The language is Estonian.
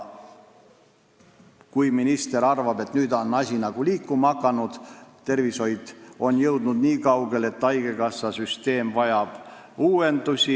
Minister arvab, et nüüd on asi nagu liikuma hakanud, aga tervishoid on jõudnud nii kaugele, et haigekassasüsteem vajab uuendusi.